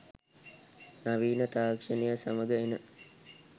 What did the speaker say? නවීන තාක්‍ෂණය සමඟ එන